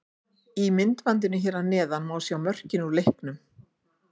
Í myndbandinu hér að neðan má sjá mörkin úr leiknum.